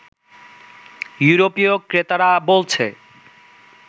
ইউরোপীয় ক্রেতারা বলছে